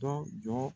Dɔ jɔ